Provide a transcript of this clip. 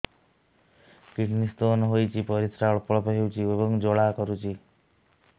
kidney stone ହୋଇଛି ପରିସ୍ରା ଅଳ୍ପ ଅଳ୍ପ ହେଉଛି ଏବଂ ଜ୍ୱାଳା କରୁଛି